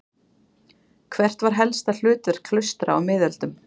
Hvert var helsta hlutverk klaustra á miðöldum?